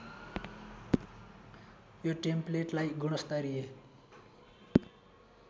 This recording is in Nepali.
यो टेम्पलेटलाई गुणस्तरिय